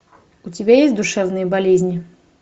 у тебя есть душевные болезни